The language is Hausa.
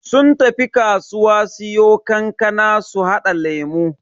Sun tafi kasuwa siyo kankana su hada lemu.